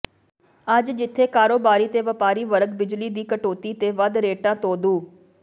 ਅੱਜ ਜਿਥੇ ਕਾਰੋਬਾਰੀ ਤੇ ਵਪਾਰੀ ਵਰਗ ਬਿਜਲੀ ਦੀ ਕਟੌਤੀ ਤੇ ਵੱਧ ਰੇਟਾਂ ਤੋਂ ਦੁ